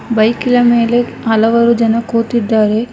ಬೈಕಿಲ ಮೇಲೆ ಹಲವಾರು ಜನ ಕೂತಿದ್ದಾರೆ.